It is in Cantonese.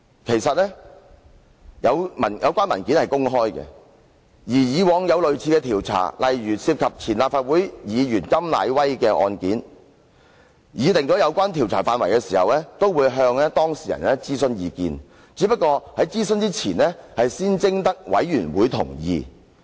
其實，有關文件是公開的，過往也有類似的調查，例如涉及前立法會議員甘乃威的個案，在擬定有關調查範圍時，也會向當事人諮詢意見，只是在諮詢前會先徵得委員會同意。